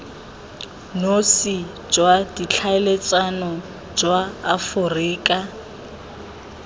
nosi jwa ditlhaeletsano jwa aforika